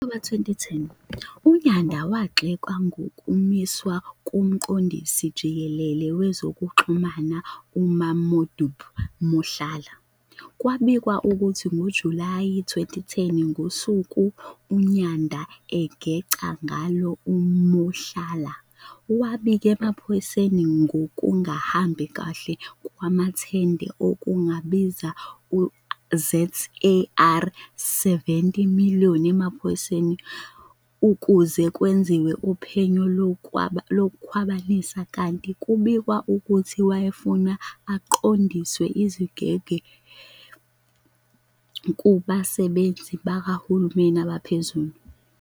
Ngo-Okthoba 2010, uNyanda wagxekwa ngokumiswa komqondisi jikelele wezokuxhumana uMamodupi Mohlala. Kubikwa ukuthi ngoJulayi 2010, ngosuku uNyanda agenca ngalo uMohlala, wabika emaphoyiseni ngokungahambi kahle kwamathenda okungabiza u-ZAR 70 million emaphoyiseni ukuze kwenziwe uphenyo lokukhwabanisa kanti kubikwa ukuthi wayefuna aqondiswe izigwegwe kubasebenzi bakahulumeni abaphezulu.